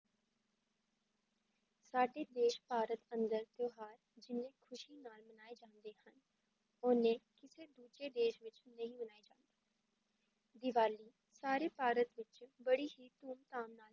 ਸਾਡੇ ਦੇਸ ਭਾਰਤ ਅੰਦਰ ਤਿਉਹਾਰ ਜਿੰਨੇ ਖ਼ੁਸ਼ੀ ਨਾਲ ਮਨਾਏ ਜਾਂਦੇ ਹਨ, ਓਨੇ ਕਿਸੇ ਦੂਜੇ ਦੇਸ ਵਿੱਚ ਨਹੀਂ ਮਨਾਏ ਜਾਂਦੇ ਦੀਵਾਲੀ ਸਾਰੇ ਭਾਰਤ ਵਿੱਚ ਬੜੀ ਹੀ ਧੂਮ ਧਾਮ ਨਾਲ